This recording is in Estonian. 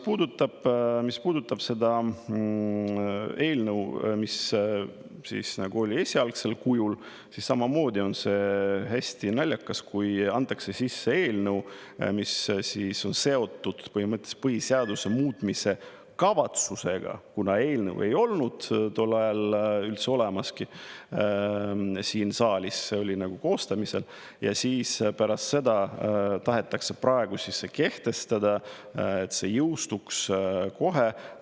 Ja mis puudutab seda eelnõu, mis oli esialgsel kujul, siis samamoodi on hästi naljakas, kui antakse sisse eelnõu, mis on seotud põhimõtteliselt põhiseaduse muutmise kavatsusega, kuna eelnõu ei olnud tol ajal üldse olemaski siin saalis, see oli koostamisel, ja siis pärast seda tahetakse praegu kehtestada, et see jõustuks kohe.